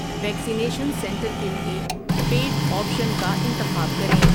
Vaccination centre کے لیے paid option کا انتخاب کریں۔